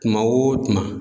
Kuma o kuma